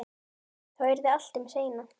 Þá yrði allt um seinan.